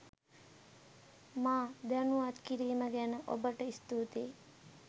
මා දැනුවත් කිරීම ගැන ඔබට ස්තුතියි.